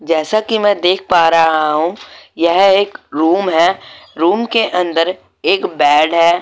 जैसा कि मैं देख पा रहा हूं यह एक रूम है रूम के अंदर एक बेड है।